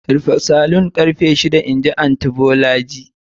Rufe saloon da karfe shida! inji anty bolaji jiya.